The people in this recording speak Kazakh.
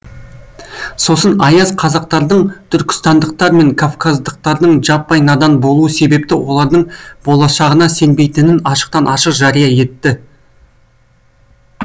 сосын аяз қазақтардың түркістандықтар мен кавказдықтардың жаппай надан болуы себепті олардың болашағына сенбейтінін ашықтан ашық жария етті